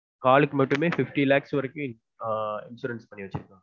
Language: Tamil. காலுக்கு மட்டுமே fifty lakhs வரைக்கும் ஆஹ் insurance பண்ணி வச்சுருக்காங்க